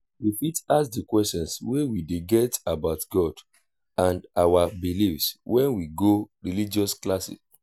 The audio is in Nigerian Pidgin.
we fit ask di questions wey we dey get about god and our beliefs when we go religious class